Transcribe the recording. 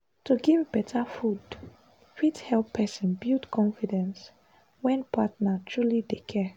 to give better food fit help person build confidence when partner truly dey care.